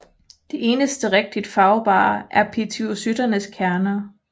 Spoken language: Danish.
Det eneste rigtigt farvbare er pituicytternes kerner